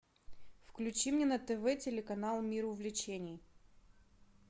включи мне на тв телеканал мир увлечений